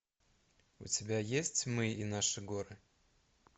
у тебя есть мы и наши горы